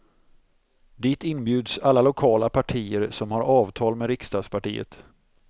Dit inbjuds alla lokala partier som har avtal med riksdagspartiet.